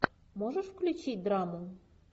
можешь включить драму